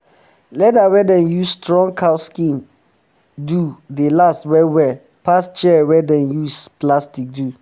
leather wey dem use strong cow skin do dey last well well um pass chair wey um dem use plastic do